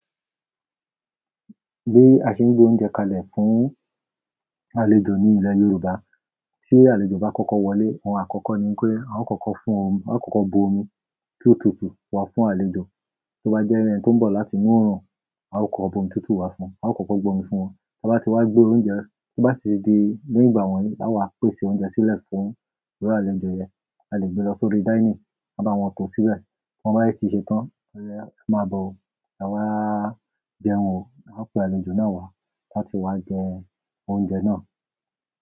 Bí a ṣe ń gbé oúnjẹ kalẹ̀ fún àlejò ní ilẹ̀ Yorùbá, tí àlejò bá kọ́kọ́ wọlé, oun àkọ́kọ́ ni pé a ó kọ́kọ́ fún omi, a ó kọ́kọ́ bu omi tó tutù wá fún àlejò. To bá jẹ́ ẹni tí ń bọ̀ láti inú òrùn, a ó kọ bu omi tutù wá fún un, a ó kọ́kọ́ gbọ omi fún wọn. Ta bá ti wá gbé oúnjẹ, to bá sì di ní ìgbà wọ́n yìí, là wá pèsè oúnjẹ sílẹ̀ fún iru àlejò yẹn. A lè gbé lọ sórí dining, ka bá wọn tọ̀ọ́ síbẹ̀. Ti won bá dé tí ṣe tán, e máa bọ̀ o, ewa jẹun ò, a pe àlejò náà wá láti wá jẹ oúnjẹ náà.